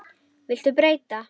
Viltu breyta?